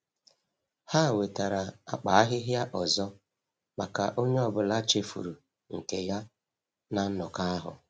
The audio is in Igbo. Ha wetara akpa ahịhịa ọzọ maka onye ọbụla chefuru nke ya na nnọkọ ahụ.